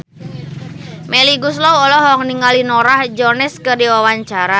Melly Goeslaw olohok ningali Norah Jones keur diwawancara